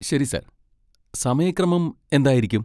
ശരി, സർ, സമയക്രമം എന്തായിരിക്കും?